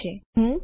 હવે હું શું કરીશ